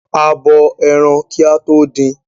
A bo ẹran kí a tó din.